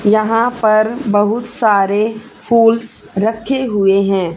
यहां पर बहुत सारे फूल्स रखे हुए हैं।